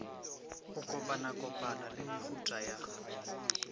go kopakopana le mehutahuta ya